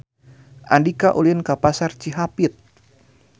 Andika ulin ka Pasar Cihapit